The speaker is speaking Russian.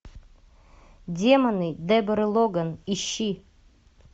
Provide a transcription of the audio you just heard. демоны деборы логан ищи